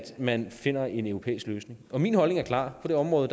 man finder en europæisk løsning min holdning er klar på det område